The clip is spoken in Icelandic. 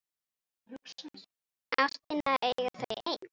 Ástina eiga þau ein.